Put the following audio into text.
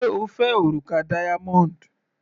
Sé O fẹ́ òrùka diamond?.